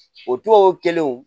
O tubabu kelenw